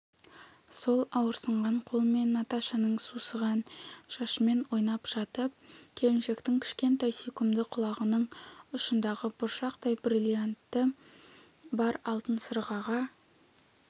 сол ауырсынған қолымен наташаның сусыған шашымен ойнап жатып келіншектің кішкентай сүйкімді құлағының ұшындағы бұршақтай бриллианты бар алтын сырғаға